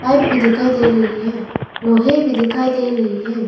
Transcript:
Pipe भी दिखाई दे रही है लोहे भी दिखाई दे रही है।